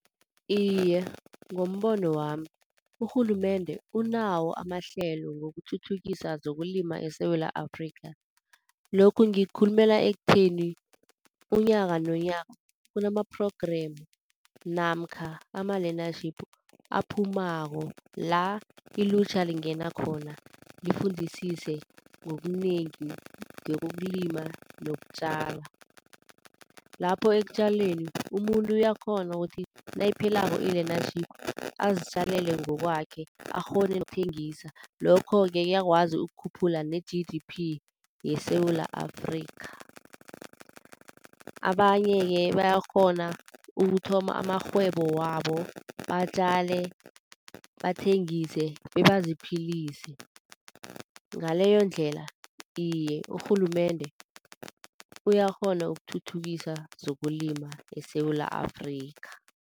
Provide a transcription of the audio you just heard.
Iye, ngombono wami urhulumende unawo amahlelo wokuthuthukisa zokulima eSewula Afrikha. Lokho ngikukhulumela ekutheni unyaka nonyaka kunama-program namkha ama-learnership aphumako la ilutjha lingena khona lifundisise ngokunengi ngekokulima nokutjala. Lapho ekutjaleni umuntu uyakghona ukuthi nayiphelako i-learnership azitjalele ngokwakhe akghone ukuthengisa. Lokho-ke kuyakwazi ukukhuphula ne-G_D_P yeSewula Afrikha. Abanye-ke bayakghona ukuthoma amarhwebo wabo batjale, bathengise bebaziphilise. Ngaleyondlela iye, urhulumende uyakghona ukuthuthukisa zokulima eSewula Afrikha.